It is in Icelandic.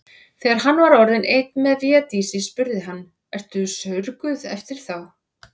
Þegar hann var orðinn einn með Védísi spurði hann:-Ertu saurguð eftir þá.